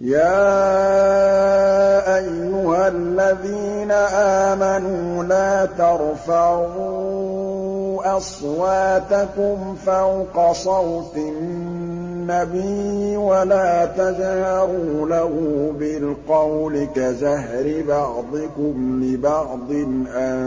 يَا أَيُّهَا الَّذِينَ آمَنُوا لَا تَرْفَعُوا أَصْوَاتَكُمْ فَوْقَ صَوْتِ النَّبِيِّ وَلَا تَجْهَرُوا لَهُ بِالْقَوْلِ كَجَهْرِ بَعْضِكُمْ لِبَعْضٍ أَن